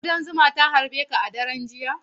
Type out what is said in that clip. Kuɗan zuma ta harbi ka a daren jiya?